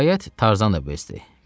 Nəhayət, Tarzan da bezdi.